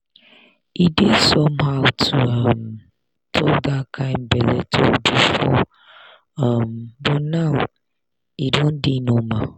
e dey somehow to um talk that kind belle talk before um but now e don dey normal.